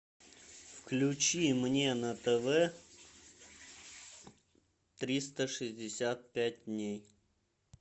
включи мне на тв триста шестьдесят пять дней